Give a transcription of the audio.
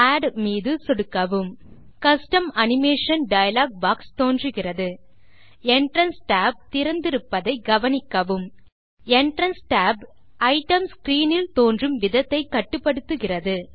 add மீது சொடுக்கவும் custom animation dialog box தோன்றுகிறது என்ட்ரன்ஸ் tab திறந்திருப்பதை கவனிக்கவும் என்ட்ரன்ஸ் tab ஐட்டம் ஸ்க்ரீன் இல் தோன்றும் விதத்தை கட்டுப்படுத்துகிறது